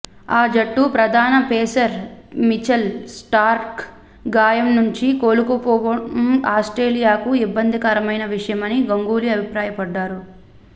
ఆ జట్టు ప్రధాన పేసర్ మిచెల్ స్టార్క్ గాయం నుంచి కోలుకోకపోవడం ఆస్ట్రేలియాకు ఇబ్బందికరమైన విషయమని గంగూలీ అభిప్రాయపడ్డాడు